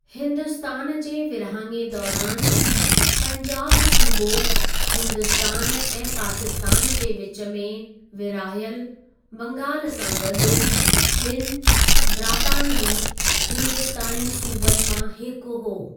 हिन्दुस्तान जे विरहाङे दौरानि, पंजाब सूबो हिन्दुस्तान ऐं पाकिस्तानु जे विचु में विरहायल बंगालु सां गॾु, ॿिनि ब्रातानवी हिंदुस्तानी सूबनि मां हिकु हो।